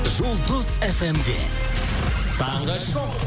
жұлдыз фмде таңғы шоу